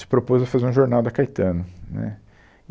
Se propôs a fazer um jornal da Caetano, né.